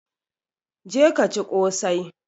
Je ka ci ƙosai!